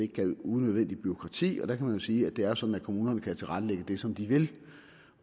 gav unødvendigt bureaukrati og der kan man jo sige at det er sådan at kommunerne kan tilrettelægge det som de vil